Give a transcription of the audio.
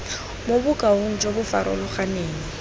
mo bokaong jo bo farologaneng